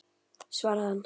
svaraði hann.